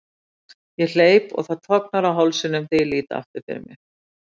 Ég hleyp og það tognar á hálsinum þegar ég lít aftur fyrir mig.